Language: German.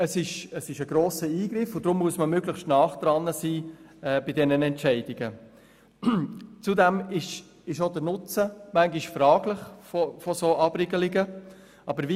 Es ist ein grosser Eingriff und deshalb muss man bei solchen Entscheidungen möglichst nahe am Geschehen sein.